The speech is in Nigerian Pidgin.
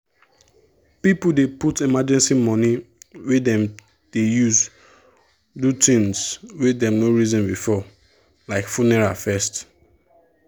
people dey put emergency money wey them dey use do things wey them no reason before like funeral first.